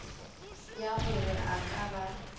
ya gore a ka ba